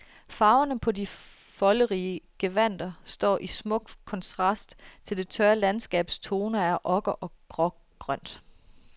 Farverne på de folderige gevandter står i smuk kontrast til det tørre landskabs toner af okker og grågrønt.